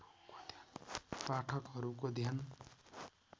पाठकहरुको ध्यान